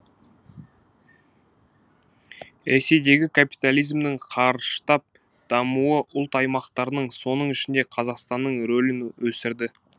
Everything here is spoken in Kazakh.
ресейдегі капитализмнің қарыштап дамуы ұлт аймақтарының соның ішінде қазақстанның рөлін өсірді